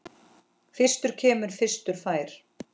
Fyrstur kemur, fyrstur fær.